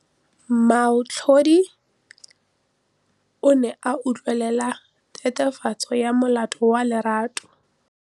Moatlhodi o ne a utlwelela tatofatsô ya molato wa Lerato.